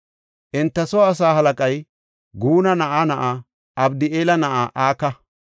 Enta soo asaa halaqay Guna na7aa na7aa Abdi7eela na7aa Aka.